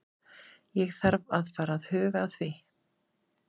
Ég þarf að fara að huga því.